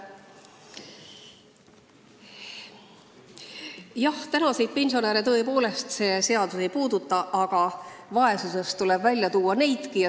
Jah, praegusi pensionäre tõepoolest see seaduseelnõu ei puuduta, aga vaesusest tuleb välja tuua nemadki.